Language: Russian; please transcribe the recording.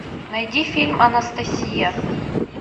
найди фильм анастасия